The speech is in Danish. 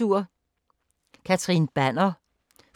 Banner, Catherine: